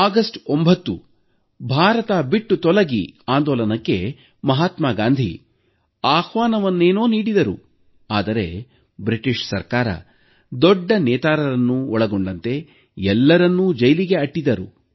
August 9ರಂದು ಭಾರತ ಬಿಟ್ಟು ತೊಲಗಿ ಆಂದೋಲನಕ್ಕೆ ಮಹಾತ್ಮ ಗಾಂಧೀ ಆಹ್ವಾನವನ್ನೇನೋ ನೀಡಿದರು ಆದರೆ ಬ್ರಿಟಿಷ್ ಸರ್ಕಾರ ದೊಡ್ಡ ನೇತಾರರನ್ನೊಳಗೊಂಡಂತೆ ಎಲ್ಲರನ್ನೂ ಜೈಲಿಗೆ ಅಟ್ಟಿತು